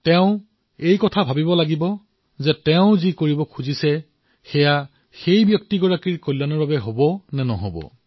তেওঁ এয়া চিন্তা কৰিব লাগে যে তেওঁৰ সহায়ৰ দ্বাৰা সেই ব্যক্তিজনৰ কল্যাণ হব নে নহয়